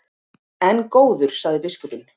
En góður, sagði biskupinn.